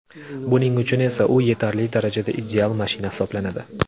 Buning uchun esa u yetarli darajada ideal mashina hisoblanadi.